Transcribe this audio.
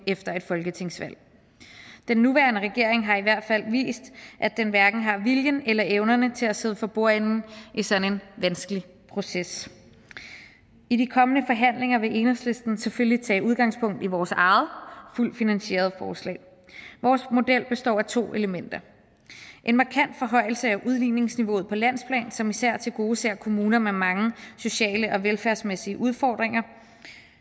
efter et folketingsvalg den nuværende regering har i hvert fald vist at den hverken har viljen eller evnerne til at sidde for bordenden i sådan en vanskelig proces i de kommende forhandlinger vil enhedslisten selvfølgelig tage udgangspunkt i vores eget fuldt finansierede forslag vores model består af to elementer en markant forhøjelse af udligningsniveauet på landsplan som især tilgodeser kommuner med mange sociale og velfærdsmæssige udfordringer